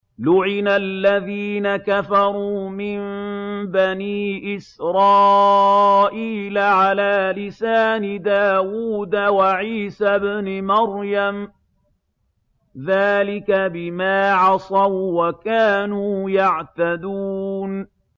لُعِنَ الَّذِينَ كَفَرُوا مِن بَنِي إِسْرَائِيلَ عَلَىٰ لِسَانِ دَاوُودَ وَعِيسَى ابْنِ مَرْيَمَ ۚ ذَٰلِكَ بِمَا عَصَوا وَّكَانُوا يَعْتَدُونَ